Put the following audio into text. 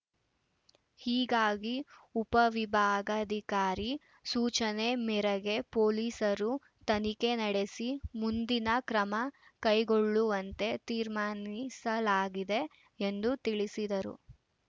ಹೀಗಾಗಿ ಉಪವಿಭಾಗಾಧಿಕಾರಿ ಸೂಚನೆ ಮೇರೆಗೆ ಪೊಲೀಸರು ತನಿಖೆ ನಡೆಸಿ ಮುಂದಿನ ಕ್ರಮ ಕೈಗೊಳ್ಳುವಂತೆ ತೀರ್ಮಾನಿಸಲಾಗಿದೆ ಎಂದು ತಿಳಿಸಿದರು